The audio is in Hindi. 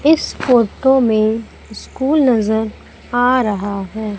इस फोटो में स्कूल नजर आ रहा है।